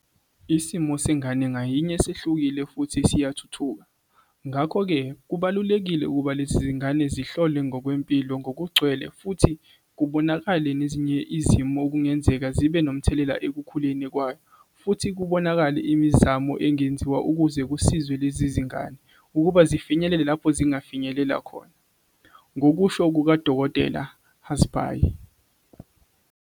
"Isimo sengane ngayinye sehlukile futhi siyathuthuka, ngakho-ke kubalulekile ukuba lezi ngane zihlolwe ngokwempilo ngokugcwele futhi kubonakale nezinye izimo okungenzeka zibe nomthelela ekukhuleni kwayo futhi kubonakale imizamo engenziwa ukuze kusizwe lezingane ukuba zifinyelele lapho zingafinyelela khona," ngokusho kuka-Dkt. hazbhay.